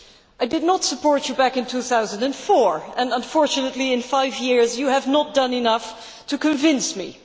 I did not support you back in 2004 and unfortunately, in five years, you have not done enough to convince me.